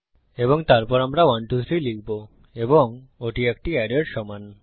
এবং তারপর আমরা 123 লিখব এবং ওটি একটি অ্যারের সমান